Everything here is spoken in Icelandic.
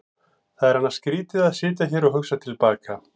Það er annars skrýtið að sitja hér og hugsa til baka.